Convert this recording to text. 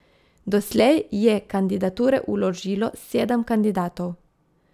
Doslej je kandidature vložilo sedem kandidatov.